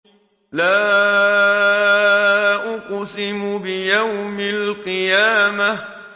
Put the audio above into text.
لَا أُقْسِمُ بِيَوْمِ الْقِيَامَةِ